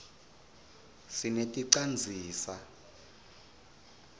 sineti canzisa